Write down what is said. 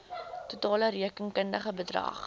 totale rekenkundige bedrag